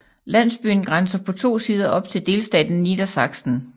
Landsbyen grænser på to sider op til delstaten Niedersachsen